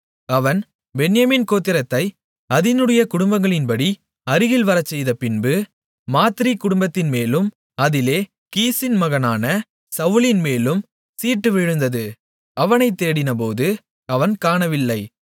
அவன் பென்யமீன் கோத்திரத்தை அதினுடைய குடும்பங்களின்படி அருகில் வரச்செய்தபின்பு மாத்திரி குடும்பத்தின்மேலும் அதிலே கீசின் மகனான சவுலின்மேலும் சீட்டு விழுந்தது அவனைத் தேடினபோது அவன் காணவில்லை